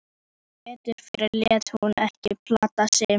Sem betur fer lét hún ekki plata sig